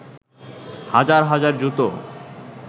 হাজার হাজার জুতো